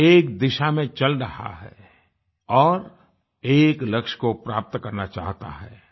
एक दिशा मे चल रहा है और एक लक्ष्य को प्राप्त करना चाहता है